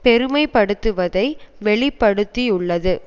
பெருமைப்படுத்துவதை வெளி படுத்தியுள்ளது